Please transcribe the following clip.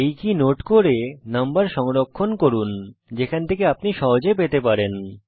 এই key note করুন এবং নম্বর সংরক্ষণ করুন যেখান থেকে আপনি সহজে পেতে পারেন